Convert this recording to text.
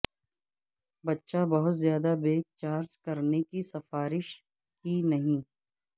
بچہ بہت زیادہ بیگ چارج کرنے کی سفارش کی نہیں